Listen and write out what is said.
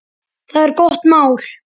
Það er gott mál.